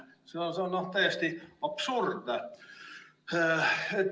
See on täiesti absurdne.